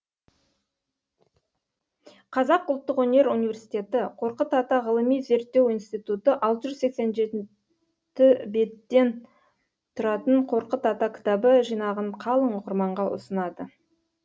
қазақ ұлттық өнер университеті қорқыт ата ғылыми зерттеу институты алты жүз сексен жеті беттен тұратын қорқыт ата кітабы жинағын қалың оқырманға ұсынады